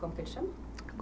Como que ele se chama?